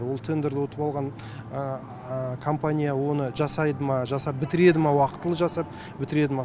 ол тендерді ұтып алған компания оны жасайды ма жасап бітіреді ма уақытылы жасап бітіреді ма